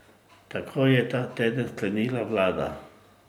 Tako je ta teden sklenila vlada.